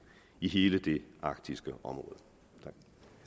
i hele det arktiske område